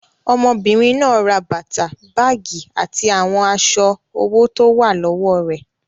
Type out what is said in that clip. Ọmọbìnrin náà ra bàtà, báágì àti àwọn aṣọ owó tó wà lọ́wọ́ rẹ̀.